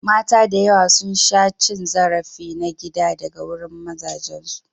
Mata da yawa sun sha cin zarafi na gida daga wurin mazajensu.